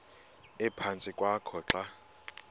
ephantsi kwakho xa